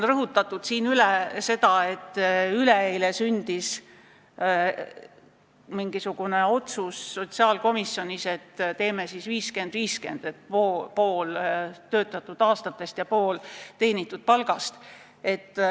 Täna on siin rõhutatud, et üleeile sündis sotsiaalkomisjonis otsus, et teeme skeemi 50 : 50, et pensionist pool sõltub töötatud aastatest ja pool teenitud palgast.